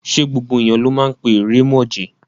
Ṣé gbogbo èèyàn ló máa ń pé ìrèmọ̀jé?